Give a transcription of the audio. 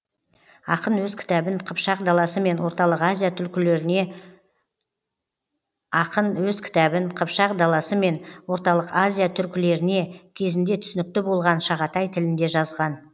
ақын өз кітабын қыпшақ даласы мен орталық азия түркілеріне кезінде түсінікті болған шағатай тілінде жазған